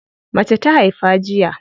Mace ta haifa jiya.